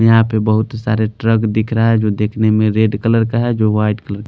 यहां पे बहुत सारे ट्रक दिख रहा है जो देखने में रेड कलर का है जो वाइट कलर --